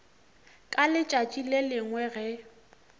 ka letšatši le lengwe ge